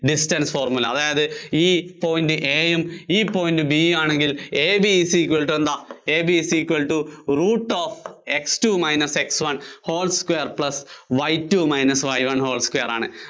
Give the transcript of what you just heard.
distance formula അതായത് ഈ point A യും ഈ point B യും ആണെങ്കില്‍ AB is equal to എന്താ AB is equal to root of X two minus X one whole square plus Y two minus Y one whole square ആണ്.